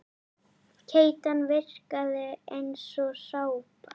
Keytan virkaði eins og sápa.